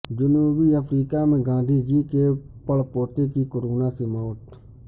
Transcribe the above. جنوبی افریقہ میں گاندھی جی کے پڑپوتے کی کورنا سے موت